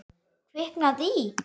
Kviknað í.